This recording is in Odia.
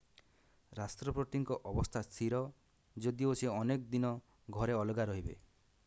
ରାଷ୍ଟ୍ରପତିଙ୍କ ଅବସ୍ଥା ସ୍ଥିର ଯଦିଓ ସେ ଅନେକ ଦିନ ଘରେ ଅଲଗା ରହିବେ